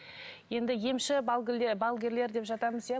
енді емші балгерлер балгерлер деп жатамыз иә